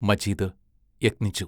Majeed യത്നിച്ചു.